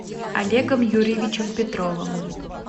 олегом юрьевичем петровым